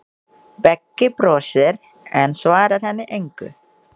Beggi brosir, en svarar henni engu.